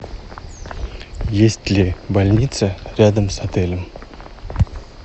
есть ли больница рядом с отелем